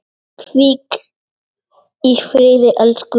Hvíl í friði, elsku Elsa.